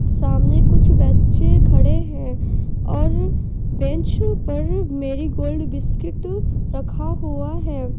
सामने कुछ बच्चे खड़े हैं और बेंच पर मेरी गोल्ड बिस्कुट रखा हुआ है।